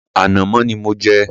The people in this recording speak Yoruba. Rárá, ànàmọ́ ni mò ń jẹ.